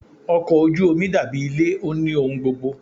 Ọkọ̀ ojú omi dàbí ilé, ó ní ohun gbogbo.